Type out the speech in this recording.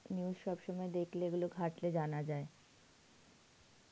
news সব সময় দেখলে, এগুলো ঘাটলে জানা যায়.